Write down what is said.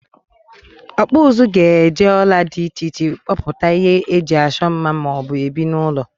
Okpu uzu ga eje ola di iche iche kpoputa ihe eji Acho mma ma o bu ebi n'ulo.